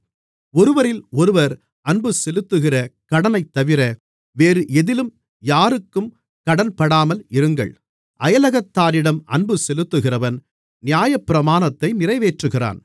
ஒருவரிலொருவர் அன்பு செலுத்துகிற கடனைத்தவிர வேறு எதிலும் யாருக்கும் கடன்படாமல் இருங்கள் அயலகத்தாரிடம் அன்புசெலுத்துகிறவன் நியாயப்பிரமாணத்தை நிறைவேற்றுகிறான்